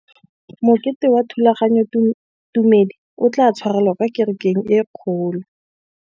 Mokete wa thulaganyôtumêdi o tla tshwarelwa kwa kerekeng e kgolo.